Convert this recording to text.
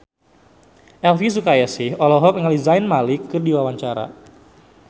Elvy Sukaesih olohok ningali Zayn Malik keur diwawancara